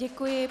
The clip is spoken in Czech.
Děkuji.